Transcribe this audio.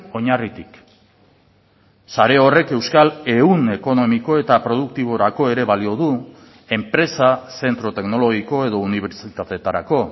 oinarritik sare horrek euskal ehun ekonomiko eta produktiborako ere balio du enpresa zentro teknologiko edo unibertsitateetarako